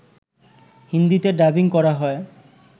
হিন্দিতে ডাবিং করা হয়